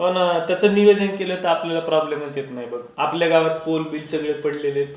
हो ना त्याचं नियोजन केलं तर आपल्याला प्रॉब्लेम येत नाही बघ. आपल्या गावात पोल बिल सगळे पडले आहेत